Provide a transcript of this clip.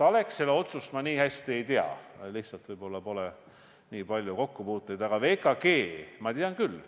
Alexela otsust ma nii hästi ei tea, mul lihtsalt võib-olla pole nii palju kokkupuuteid, aga VKG oma tean ma küll.